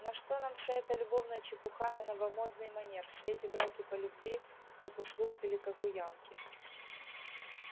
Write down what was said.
на что нам вся эта любовная чепуха на новомодный манер все эти браки по любви как у слуг или как у янки